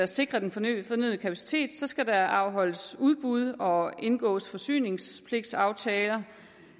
sikre den fornødne kapacitet skal der afholdes udbud og indgås forsyningspligtsaftaler